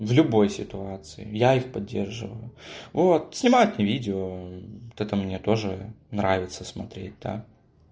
в любой ситуации я их поддерживаю вот снимать мне видео это мне тоже нравится смотреть да